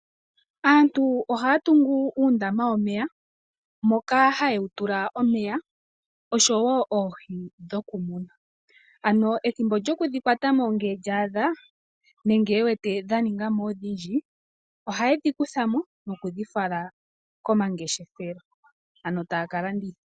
Aantu ohaya tungu uundama womeya moka haye wu tula omeya oshowo oohi dhokumuna ano ethimbo lyokudhikwatamo ngele lyaadha nenge e wete dha ningamo odhindji ohaye dhi kuthamo nokudhifala komangeshefelo ano taya kalanditha.